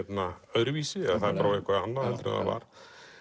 öðruvísi eða það er orðið eitthvað annað en það var